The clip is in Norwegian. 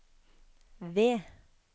V